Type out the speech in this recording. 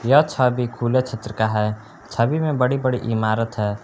यह छवि खुले क्षेत्र का है छवि में बड़ी बड़ी इमारत है।